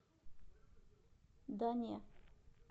да не